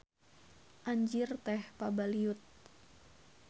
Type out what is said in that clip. Anjir teh pabaliut.